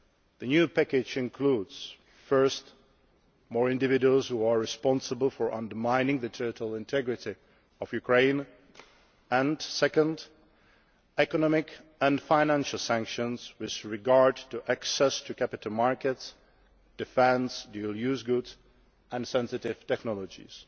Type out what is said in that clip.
The new package includes, firstly, more individuals who are responsible for undermining the territorial integrity of Ukraine, and secondly, economic and financial sanctions with regard to access to capital markets, defence, dual use goods and sensitive technologies.